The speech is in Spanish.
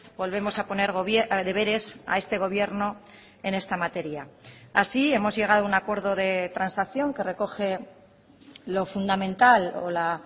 volvemos a poner deberes a este gobierno en esta materia así hemos llegado a un acuerdo de transacción que recoge lo fundamental o la